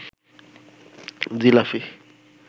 jalebi